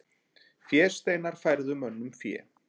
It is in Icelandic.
Fésteinar færðu mönnum fé.